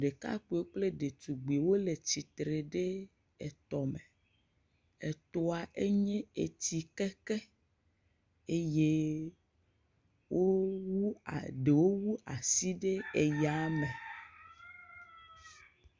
Ɖekakpuiwo kple ɖetugbiwo le tsitre ɖe etɔ me, etɔa enye etsi keke eye wowu, ɖewo wu asi ɖe eya me.